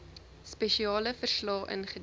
spesiale verslae ingedien